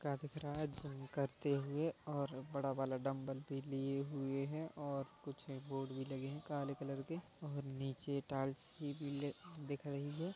का दिख रहा हैं जिम करते हुए और बड़ा वाला डंबल भी लिए हुए हैं और कुछ बोर्ड भी लगे है काले कलर के और नीचे टाइल्स भी पीले दिख रही है।